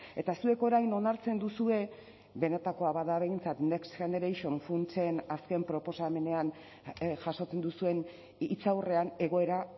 eta zuek orain onartzen duzue benetakoa bada behintzat next generation funtsen azken proposamenean jasotzen duzuen hitzaurrean egoera